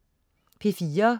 P4: